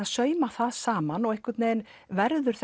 sauma það saman og einhvern veginn verður